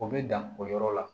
O bɛ dan o yɔrɔ la